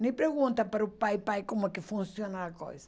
Nem pergunta para o pai, pai, como é que funciona a coisa.